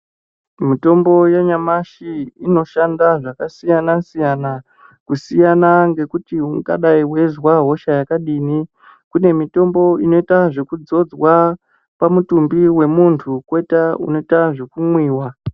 Mitombo yanyamashi inoshanda zvakasiyana siyana kusiyana ngekuti ungadai weizwa hosha yakadini kune mutombo unoita zvekudzodzwa pamutumbi wemuntu kune mitombo inoita weku mwiwa.